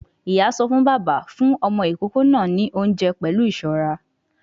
Ìyá sọ fún bàbá; fún ọmọ ìkókó náà ní oúnjẹ pẹ̀lú ìṣọ́ra